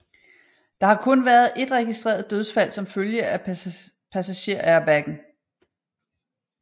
Der har kun været et registreret dødsfald som følger af passagerairbaggen